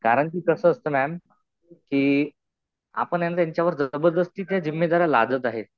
कारण कि कसं असतं मॅम, कि आपण ह्यांच्या ह्याच्यावर जबरदस्ती ते जिम्मेदाऱ्या लादत आहे.